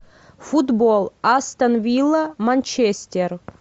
футбол астон вилла манчестер